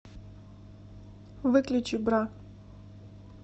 выключи бра